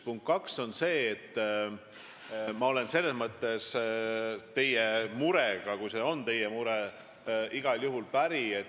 Punkt kaks on see, et ma olen teie murega – kui see on teie mure – igal juhul päri.